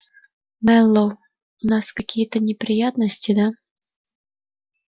мэллоу у нас какие-то неприятности да